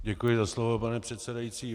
Děkuji za slovo, pane předsedající.